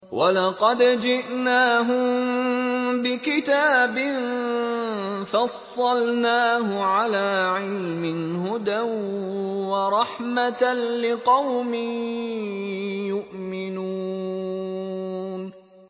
وَلَقَدْ جِئْنَاهُم بِكِتَابٍ فَصَّلْنَاهُ عَلَىٰ عِلْمٍ هُدًى وَرَحْمَةً لِّقَوْمٍ يُؤْمِنُونَ